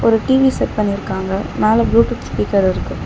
ஒரு TV set பண்ணிருக்காங்க மேல ப்ளூடூத் ஸ்பீக்கர் இருக்கு.